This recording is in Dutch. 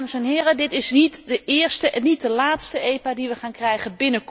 Dames en heren, dit is niet de eerste en niet de laatste EPO die we wij gaan krijgen.